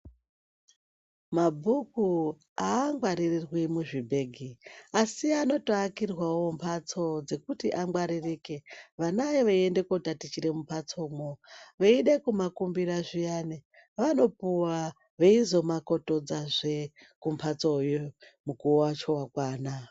Mabhuku haangwarirwi muzvibhegi asi anotoakirwavo mbatso dzekuti angwaririke, vana eienda kundotatichira mumbatsomo, veide kumakumbira zviyani vanopuwaa veizomakotodzazvee kumbatsoyo mukuvo wacho wakwana.